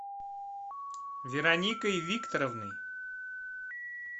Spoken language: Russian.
вероникой викторовной